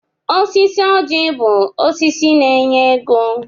Osisi ọjị bụ osisi na-enye ego.